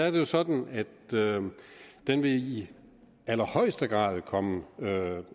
jo sådan at den i allerhøjeste grad vil komme